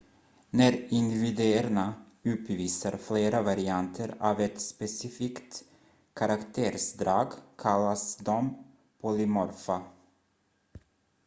när individerna uppvisar flera varianter av ett specifikt karaktärsdrag kallas de polymorfa